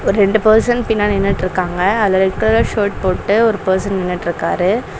ஒரு ரெண்டு பர்சன் பின்னாடி நின்னுட்டுருக்காங்க அதுல ரெட் கலர் ஷர்ட் போட்டு ஒரு பர்சன் நின்னுட்ருக்காரு.